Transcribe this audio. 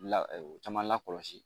La caman lakɔlɔsi.